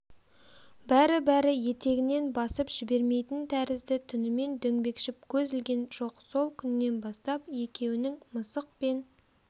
бәрі-бәрі етегінен басып жібермейтін тәрізді түнімен дөңбекшіп көз ілген жоқ сол күннен бастап екеуінің мысық пен